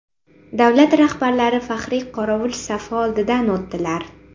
Davlat rahbarlari faxriy qorovul safi oldidan o‘tdilar.